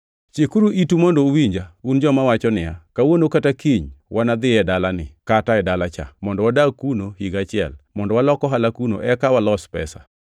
Chikuru itu mondo uwinja, un joma wacho niya, “Kawuono kata kiny wanadhi e dala ni, kata e dala cha, mondo wadag kuno higa achiel, mondo walok ohala kuno eka walos pesa.”